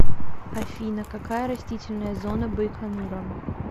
афина какая растительная зона байконура